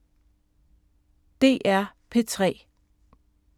DR P3